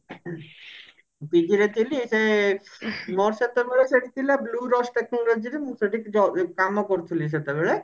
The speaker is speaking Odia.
PG ରେ ଥିଲି ମୋ ସହିତ ମୋର ସେଠି bluedust technology ରେ ମୁଁ ସେଠି ଯ କମ କରୁଥିଲି ସେତେବେଳେ